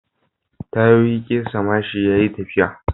Tayoyi kesa mashin yayi tafiya